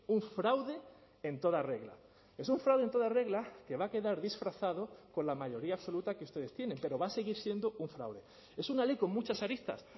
un fraude en toda regla es un fraude en toda regla que va a quedar disfrazado con la mayoría absoluta que ustedes tienen pero va a seguir siendo un fraude es una ley con muchas aristas